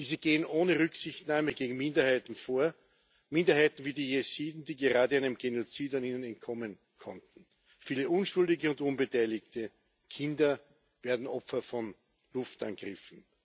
Diese gehen ohne Rücksichtnahme gegen Minderheiten vor Minderheiten wie die Jesiden, die gerade einem Genozid entkommen konnten. Viele Unschuldige und Unbeteiligte Kinder werden Opfer von Luftangriffen.